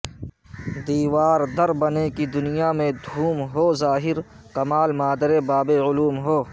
دیوار در بنے کہ دنیا میں دھوم ہو ظا ہر کمال مادر باب علوم ہو